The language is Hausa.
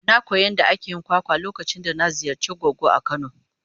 Na koyi yadda ake yin kwakwa lokacin da na ziyarci goggo a kano.